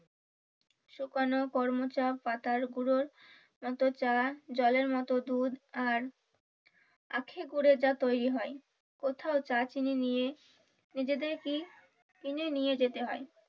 শুকানো করমচা পাতার গুঁড়োর মতো চা জলের মতো দুধ আর আখের গুড়ের যা তৈরী হয় কোথাও চা চিনি নিয়ে নিজেদের কেই কিনে নিয়ে যেতে হয়।